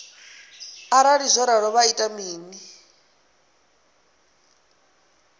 arali zwo ralo vha ita mini